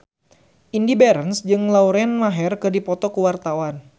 Indy Barens jeung Lauren Maher keur dipoto ku wartawan